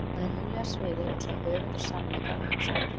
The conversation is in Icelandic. Á hinu huglæga sviði er hún sögð höfundur sannleika og hugsunar.